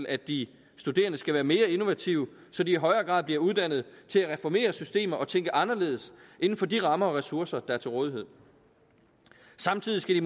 at de studerende skal være mere innovative så de i højere grad bliver uddannet til at reformere systemer og tænke anderledes inden for de rammer og ressourcer der er til rådighed samtidig skal